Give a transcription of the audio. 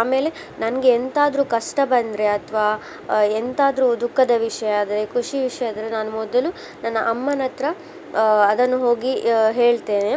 ಆಮೇಲೆ ನನ್ಗೆ ಎಂತ ಆದ್ರು ಕಷ್ಟ ಬಂದ್ರೆ ಅಥವಾ ಆ ಎಂತಾದ್ರು ದುಃಖದ ವಿಷಯ ಆದ್ರೆ ಖುಷಿ ವಿಷಯ ಆದ್ರೆ ನಾನು ಮೊದಲು ನನ್ನ ಅಮ್ಮನ ಹತ್ರ ಆ ಅದನ್ನು ಹೋಗಿ ಹೇಳ್ತೇನೆ.